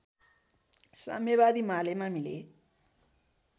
साम्यवादी मालेमा मिले